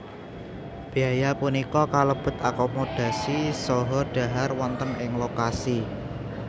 Béaya punika kalebet akomodasi saha dhahar wonten ing lokasi